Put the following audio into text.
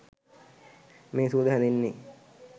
මේ සුවඳ හැදෙන්නේ